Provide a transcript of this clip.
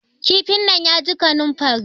kifin nan ya ji kaninfari